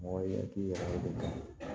Mɔgɔ i ya k'i yɛrɛ de ta ye